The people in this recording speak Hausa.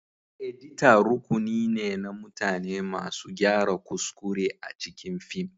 Edita rukuni ne na mutane masu gyara kuskure a cikin fim.